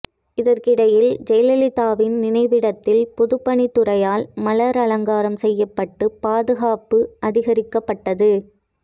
இதற்கிடையில் ஜெயலலிதாவின் நினைவிடத்தில் பொதுப்பணித்துறையால் மலர் அலங்காரம் செய்யப்பட்டு பாதுகாப்பு அதிகரிக்கப்பட்டது